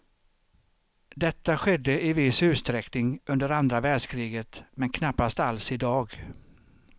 Detta skedde i viss utsträckning under andra världskriget men knappast alls idag.